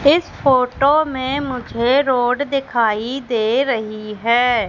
इस फोटो में मुझे रोड दिखाई दे रही है।